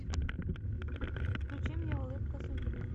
включи мне улыбка судьбы